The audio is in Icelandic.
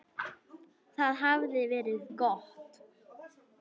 Það hafði verið gott.